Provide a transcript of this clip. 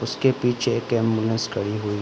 उसके पीछे एक एंबुलेंस खड़ी हुई --